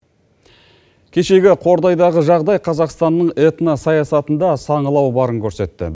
кешегі қордайдағы жағдай қазақстанның этно саясатында саңылау барын көрсетті